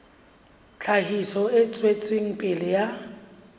tlhahiso e tswetseng pele ya